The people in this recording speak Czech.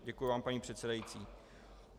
Děkuji vám, paní předsedající.